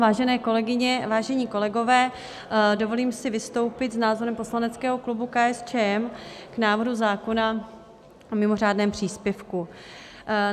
Vážené kolegyně, vážení kolegové, dovolím si vystoupit s názorem poslaneckého klubu KSČM k návrhu zákona o mimořádném příspěvku.